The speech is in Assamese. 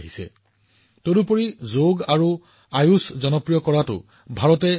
ইয়াৰ উপৰিও ভাৰতে বিশ্ব স্বাস্থ্য সংস্থাৰ সৈতে যোগ আৰু আয়ুষক জনপ্ৰিয় কৰাৰ বাবে ঘনিষ্ঠভাৱে কাম কৰি আছে